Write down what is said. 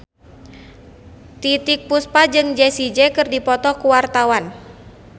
Titiek Puspa jeung Jessie J keur dipoto ku wartawan